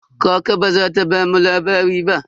Kaka ba za ta bamu labari ba.